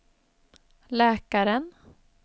läkaren